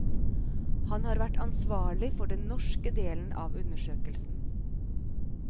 Han har vært ansvarlig for den norske delen av undersøkelsen.